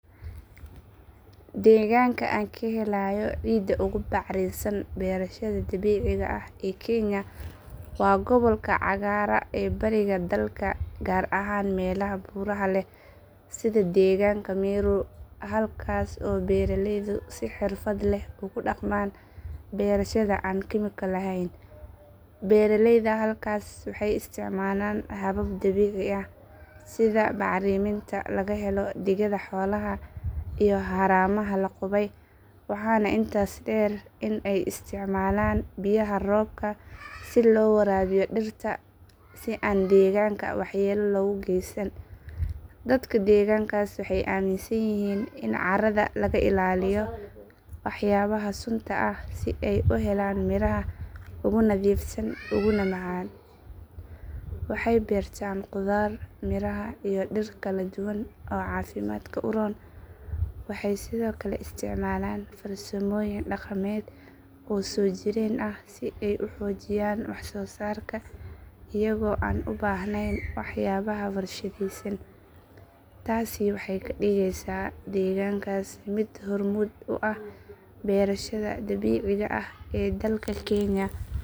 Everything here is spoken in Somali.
Deegaanka aan ka helayo cidda ugu bacrinsan beerashada dabiiciga ah ee kenya waa gobolka cagaara ee bariga dalka gaar ahaan meelaha buuraha leh sida deegaanka meru halkaas oo beeraleydu si xirfad leh ugu dhaqmaan beerashada aan kiimiko lahayn. Beeraleyda halkaas waxay isticmaalaan habab dabiici ah sida bacriminta laga helo digada xoolaha iyo haramaha la qubay waxaana intaas dheer in ay isticmaalaan biyaha roobka si loo waraabiyo dhirta si aan deegaanka waxyeello loogu geysan. Dadka deegaankaas waxay aaminsan yihiin in carrada laga ilaaliyo waxyaabaha sunta ah si ay u helaan miraha ugu nadiifsan uguna macaan. Waxay beertaan khudaar miraha iyo dhir kala duwan oo caafimaadka u roon. Waxay sidoo kale isticmaalaan farsamooyin dhaqameed oo soo jireen ah si ay u xoojiyaan wax soo saarka iyagoo aan u baahnayn waxyaabaha warshadaysan. Taasi waxay ka dhigeysaa deegaankaas mid hormuud u ah beerashada dabiiciga ah ee dalka kenya.